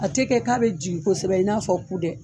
A tɛ kɛ k'a bɛ jigin kosɛbɛ, i n'a fɔ ku dɛ.